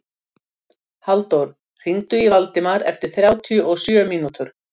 Halldór, hringdu í Valdemar eftir þrjátíu og sjö mínútur.